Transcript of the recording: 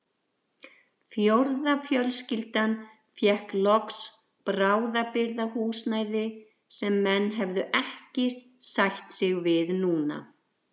Fjórða fjölskyldan fékk loks bráðabirgðahúsnæði sem menn hefðu ekki sætt sig við núna.